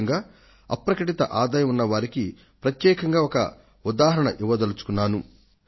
ముఖ్యంగా బహిరంగపరచని ఆదాయం ఉన్న వారికి ప్రత్యేకంగా ఒక ఉదాహరణ ఇవ్వదలుచుకున్నాను